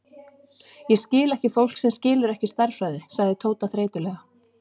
Ég skil ekki fólk sem skilur ekki stærðfræði, sagði Tóti þreytulega.